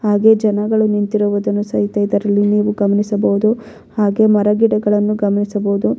ಹಾಗು ಜನಗಳು ನಿಂತಿರುವುದನ್ನು ಸಹಿತ ಇದರಲ್ಲಿ ನೀವು ಗಮನಿಸಬಹುದು ಹಾಗೆ ಮರಗಿಡಗಳನ್ನು ಗಮನಿಸಬಹುದು.